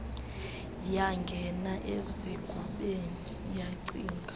yangena ezingubeni yacinga